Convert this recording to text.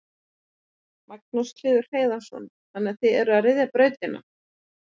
Magnús Hlynur Hreiðarsson: Þannig að þið eruð að ryðja brautina?